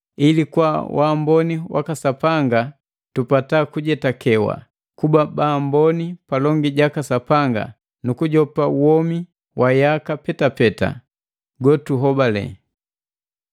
ili kwa wamboni waka Sapanga tupata kujetakewa kuba baamboni palongi jaka Sapanga nu kujopa womi wa yaka petapeta gotuhobale.